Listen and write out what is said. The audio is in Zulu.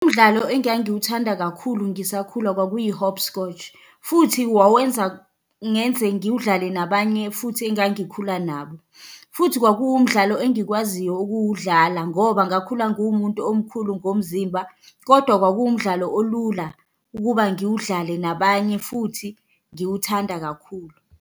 Umdlalo engangiwuthanda kakhulu ngisakhula kwakuyi-hopscotch, futhi wawenza ngenze ngiwudlale nabanye futhi engangikhula nabo, futhi kwakuwumdlalo engikwaziyo ukuwudlala ngoba ngakhula ngiwumuntu omkhulu ngomzimba, kodwa kwakuwumdlalo olula ukuba ngiwudlale nabanye futhi ngiwuthanda kakhulu.